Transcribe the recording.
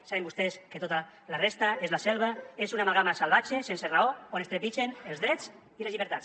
saben vostès que tota la resta és la selva és una amalgama salvatge sense raó on es trepitgen els drets i les llibertats